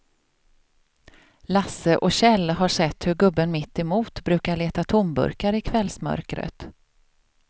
Lasse och Kjell har sett hur gubben mittemot brukar leta tomburkar i kvällsmörkret.